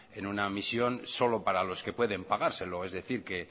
en una misión solo para los que pueden pagárselo es decir que